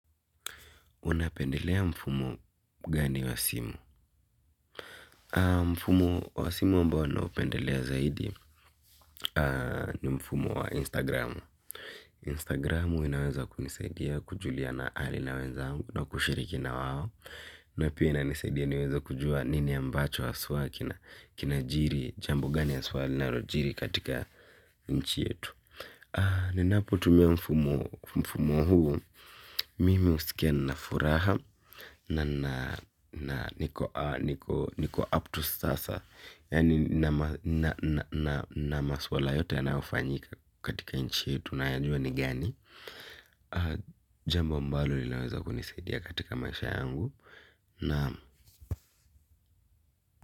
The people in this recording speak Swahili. Unapendelea mfumo gani wa simu? Mfumo wa simu ambao ninaopendelea zaidi ni mfumo wa Instagram. Instagramu inaweza kunisaidia kujuliana hali na wenzangu na kushiriki na wao. Na pia inanisaidia niweze kujua nini ambacho haswa kinajiri, jambo gani haswa linalojiri katika nchi yetu. Ninapotumia mfumo huu, mimi husikia nina furaha na niko upto sasa. Yaani na masuala yote yanayofanyika katika nchi yetu nayajua ni gani. Jambo ambalo linaweza kunisaidia katika maisha yangu.